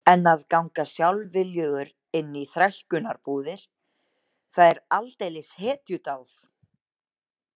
En að ganga sjálfviljugur inn í þrælkunarbúðir, það er aldeilis hetjudáð